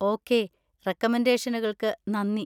Okay, റെക്കമെൻഡേഷനുകൾക്ക് നന്ദി.